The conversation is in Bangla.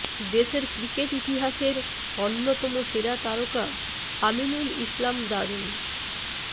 দেশের ক্রিকেট ইতিহাসের অন্যতম সেরা তারকা আমিনুল ইসলাম দারুণ